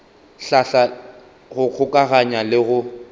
hlahla go kgokaganya le go